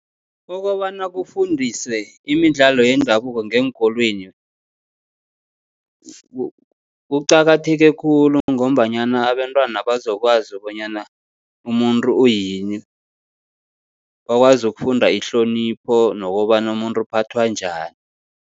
Okobana kufundiswe imidlalo yendabuko ngeenkolweni kuqakatheke khulu, ngombanyana abentwana bazokwazi bonyana umuntu uyini. Bakwazi ukufunda ihlonipho nokobana umuntu uphathwa njani.